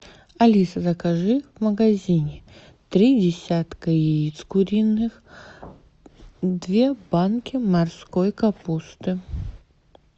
алиса закажи в магазине три десятка яиц куриных две банки морской капусты